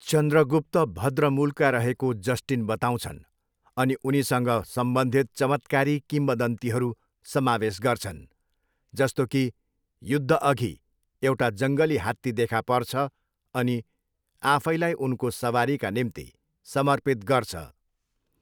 चन्द्रगुप्त भद्र मूलका रहेको जस्टिन बताउँछन् अनि उनीसँग सम्बन्धित चमत्कारी किम्वदन्तीहरू समावेश गर्छन्, जस्तो कि युद्धअघि एउटा जङ्गली हात्ती देखा पर्छ अनि आफैलाई उनको सवारीका निम्ति समर्पित गर्छ।